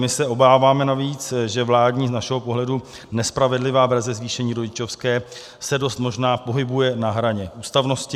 My se obáváme navíc, že vládní, z našeho pohledu nespravedlivá verze zvýšení rodičovské se dost možná pohybuje na hraně ústavnosti.